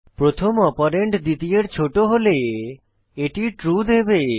প্রথম অপারেন্ড দ্বিতীয়ের ছোট হলে এটি ট্রু দেবে